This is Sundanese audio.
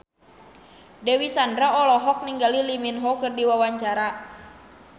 Dewi Sandra olohok ningali Lee Min Ho keur diwawancara